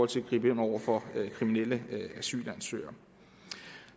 til at gribe ind over for kriminelle asylansøgere